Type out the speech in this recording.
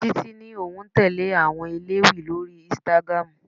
Títí ní òun tẹle àwọn elewi lórí Instagram.